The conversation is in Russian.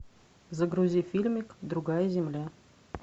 загрузи фильмик другая земля